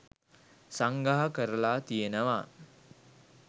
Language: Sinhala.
සංග්‍රහ කරලා තියෙනවා.